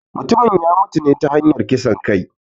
Mutumin ya mutune ta hanyar kisan kai